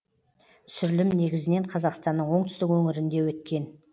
түсірілім негізінен қазақстанның оңтүстік өңірінде өткен